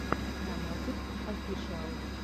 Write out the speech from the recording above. монатик офишиал